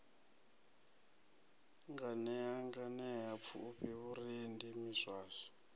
nganea nganea pfufhi vhurendi miswaswo